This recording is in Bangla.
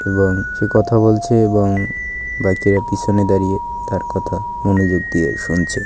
এবং সে কথা বলছে এবং বাকিরা পিছনে দাঁড়িয়ে তার কথা মনোযোগ দিয়ে শুনছে।